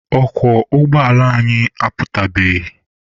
Ọkwọ ụgbọala anyị aputabeghị.